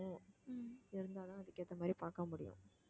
இருந்தா தான் அதுக்கு ஏத்த மாதிரி பாக்க முடியும்